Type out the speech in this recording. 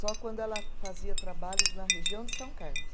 Só quando ela fazia trabalhos na região de São Carlos.